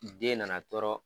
Ni den nana tɔɔrɔ